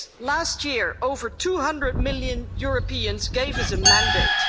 Last year, over 200 million Europeans gave us a mandate.